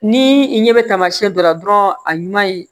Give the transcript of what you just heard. Ni i ɲɛ bɛ tamasiɲɛ dɔ la dɔrɔn a ɲuman ye